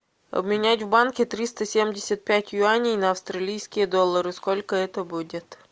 обменять в банке триста семьдесят пять юаней на австралийские доллары сколько это будет